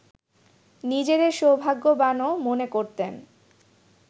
নিজেদের সৌভাগ্যবানও মনে করতেন